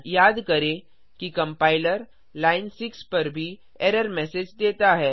याद करें कि कम्पाइलर लाइन 6 पर भी एरर मैसेज देता है